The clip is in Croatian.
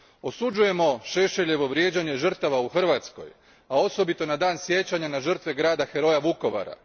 Osuđujemo Šešeljevo vrijeđanje žrtava u Hrvatskoj, a osobito na dan sjećanja na žrtve grada heroja, Vukovara.